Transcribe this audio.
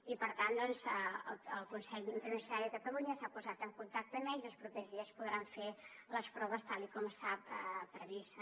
i per tant el consell interuniversitari de catalunya s’ha posat en contacte amb ells i els propers dies podran fer les proves tal com estava previst